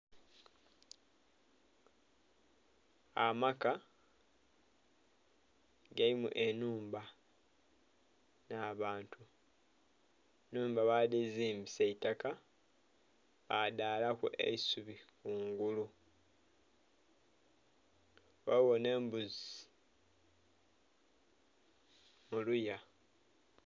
Amaka galimu enhumba nha bantu enhumba ba dhizimbisa itaka ba dhaalaku eisubi kungulu, ghaligho nhe embuzi mu luya.